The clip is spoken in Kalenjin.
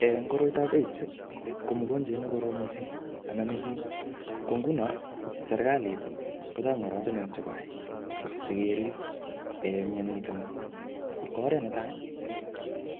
[um]koroita. immuno deficiency syndrome ko miando nekim ko ingunon ih serkalit kochang oratuniek chekiyai. siikeeib mianito ni ko oret netai